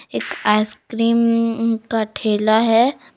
एक आइसक्रीम का ठेला है।